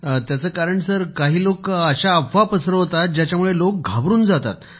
त्याचे कारण सर काही लोक अशा खोट्या अफवा पसरवतात ज्याच्यामुळे लोक घाबरून जातात